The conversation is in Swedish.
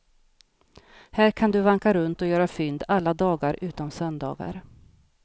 Här kan du vanka runt och göra fynd alla dagar utom söndagar.